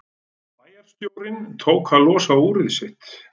Bæjarstjórinn tók að losa úrið sitt.